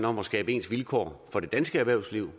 om at skabe ens vilkår for det danske erhvervsliv